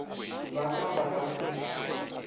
ba ka ba ka se